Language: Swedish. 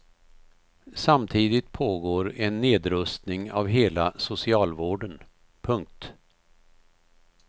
Samtidigt pågår en nedrustning av hela socialvården. punkt